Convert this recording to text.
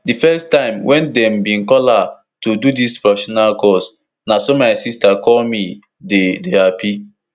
di first time wen dem bin call her to do dis professional course na so my sister call me dey dey happy